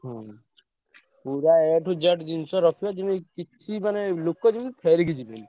ହୁଁ ପୁରା A to Z ଜିନିଷ ରଖିଆ ଯେମିତି କିଛି ମାନେ ଲୋକ ଯେମିତି ଫେରିକି ଯିବେନି।